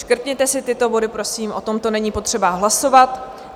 Škrtněte si tyto body, prosím, o tomto není potřeba hlasovat.